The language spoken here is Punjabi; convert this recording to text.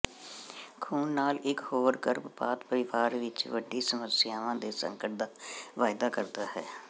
ਖੂਨ ਨਾਲ ਇਕ ਹੋਰ ਗਰਭਪਾਤ ਪਰਿਵਾਰ ਵਿਚ ਵੱਡੀ ਸਮੱਸਿਆਵਾਂ ਦੇ ਸੰਕਟ ਦਾ ਵਾਅਦਾ ਕਰਦਾ ਹੈ